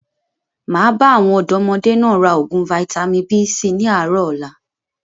Máa bá àwọn ọ̀dọ́modé náà raa oògùn Vitamin B síí ni àárọ̀ ọ̀la